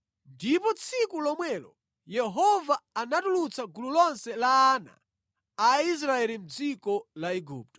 Ndipo tsiku lomwelo Yehova anatulutsa gulu lonse la ana a Israeli mʼdziko la Igupto.”